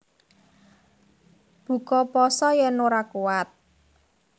Buka pasa yèn ora kuwat